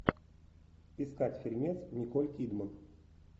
искать фильмец николь кидман